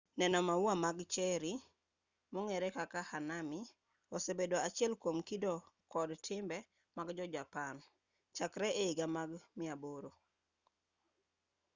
neno maua mag cherry mong'ere kaka hanami osebedo achiel kwom kido kod timbe mag jo japan chakre e higni mag 800